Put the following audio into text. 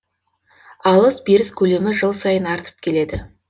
алыс беріс көлемі жыл сайын артып келеді